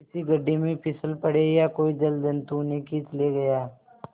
किसी गढ़े में फिसल पड़े या कोई जलजंतु उन्हें खींच ले गया